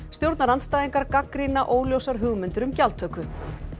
stjórnarandstæðingar gagnrýna óljósar hugmyndir um gjaldtöku